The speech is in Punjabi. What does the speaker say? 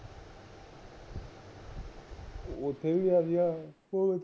ਉਥੇ ਵੀ ਗਿਆ ਸੀ ਉਹ